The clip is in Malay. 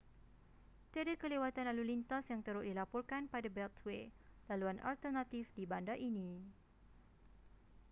tiada kelewatan lalu lintas yang teruk dilaporkan pada beltway laluan alternatif di bandar ini